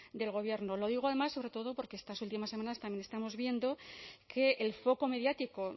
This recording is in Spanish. del gobierno lo digo además sobre todo porque estas últimas semanas también estamos viendo que el foco mediático